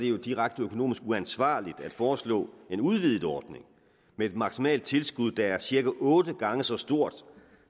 jo direkte økonomisk uansvarligt at foreslå en udvidet ordning med et maksimalt tilskud der er cirka otte gange så stort